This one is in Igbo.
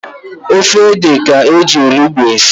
Ofe ede ka-eji onugbu esi.